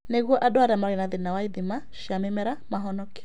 Nĩguo andũ arĩa marĩ thĩinĩ wa ithima cia mĩmera mahonokio